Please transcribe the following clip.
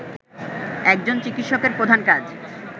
একজন চিকিৎসকের প্রধান কাজ